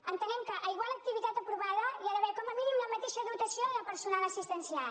entenem que a igual activitat aprovada hi ha d’haver com a mínim la mateixa dotació de personal assistencial